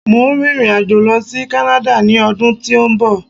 Mo ń rin ìrìn àjò lọ sí kánáda ni ọdún tí ó ń bọ̀